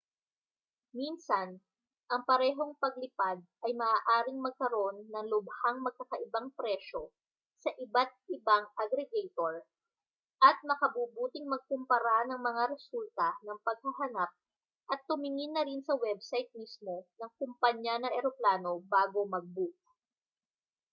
minsan ang parehong paglipad ay maaaring magkaroon ng lubhang magkakaibang presyo sa iba't-ibang aggregator at makabubuting magkumpara ng mga resulta ng paghahanap at tumingin na rin sa website mismo ng kompanya ng eroplano bago mag-book